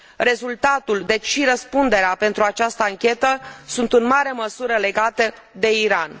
Rezultatul deci și răspunderea pentru această anchetă sunt în mare măsură legate de Iran.